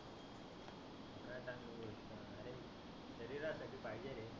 शरिरासाठी पाहीजे रे.